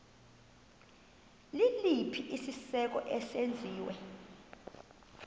liliphi isiko eselenziwe